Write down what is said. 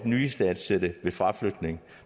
nyistandsættelse ved fraflytning